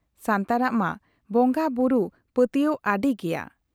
ᱥᱟᱱᱛᱟᱲᱟᱜ ᱢᱟ ᱵᱚᱝᱜᱟ ᱵᱩᱨᱩ ᱯᱟᱹᱛᱭᱟᱹᱣ ᱟᱹᱰᱤ ᱜᱮᱭᱟ ᱾